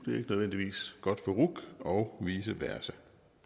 nødvendigvis godt for ruc og vice versa